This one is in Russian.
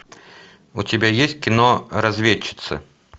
у тебя есть кино разведчицы